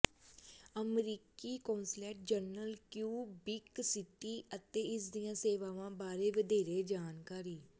ਅਮਰੀਕੀ consulate general Quebec City ਅਤੇ ਇਸ ਦੀਆਂ ਸੇਵਾਵਾਂ ਬਾਰੇ ਵਧੇਰੇ ਜਾਣਕਾਰੀ